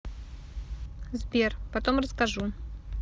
сбер потом расскажу